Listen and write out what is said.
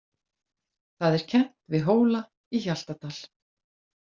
Það er kennt við Hóla í Hjaltadal.